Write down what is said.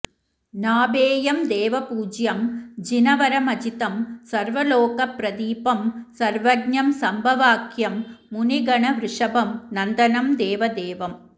नाभेयं देवपूज्यं जिनवरमजितं सर्वलोकप्रदीपं सर्वज्ञं सम्भवाख्यं मुनिगणवृषभं नन्दनं देवदेवं